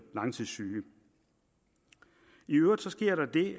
langtidssyge i øvrigt sker der det